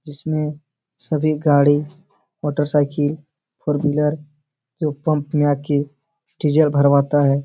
इसमें सभी गाड़ी मोटरसाइकिल फोर व्हीलर जो पंप में आ के डीजल भरवाता है।